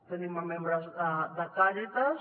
tenim membres de càritas